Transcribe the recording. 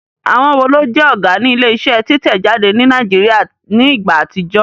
Àwọn wo ló jẹ́ Ọ̀gá ní ilé iṣẹ́ títẹ̀ jáde ní Nàìjíríà ní ìgbà àtijọ́?